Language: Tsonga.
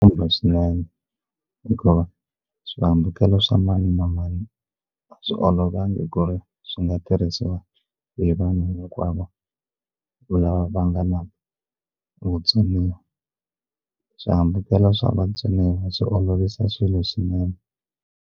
Kumbe swinene hikuva swihambukelo swa mani na mani a swi olovangi ku ri swi nga tirhisiwa hi vanhu hinkwavo lava va nga na vutsoniwa swihambukelo swa vatsoniwa swi olovisa swilo swinene.